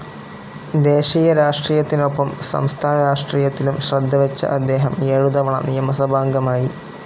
ദേശീയ രാഷ്ട്രീയത്തിനൊപ്പം സംസ്ഥാനരാഷ്ട്രീയത്തിലും ശ്രദ്ധവച്ച അദ്ദേഹം ഏഴുതവണ നിയമസഭാംഗമായി.